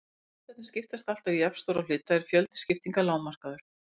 Ef listarnir skiptast alltaf í jafnstóra hluta er fjöldi skiptinga lágmarkaður.